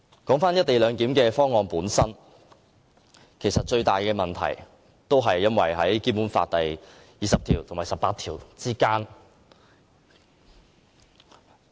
回到"一地兩檢"方案本身，其實最大的問題關乎《基本法》第二十條及第十八條。